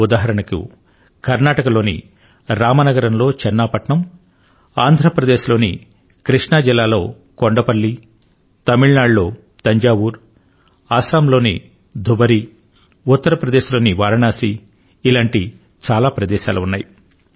ఉదాహరణకు కర్నాటకలోని రామనగరంలో చన్నాపట్నం ఆంధ్ర ప్రదేశ్ లోని కృష్ణా జిల్లాలో కొండపల్లి తమిళ నాడు లో తంజావూరు అసమ్ లోని ధుబరీ ఉత్తర ప్రదేశ్లోని వారాణసీ ఇలాంటి చాలా ప్రదేశాలు ఉన్నాయి